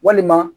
Walima